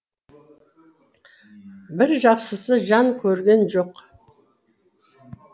бір жақсысы жан көрген жоқ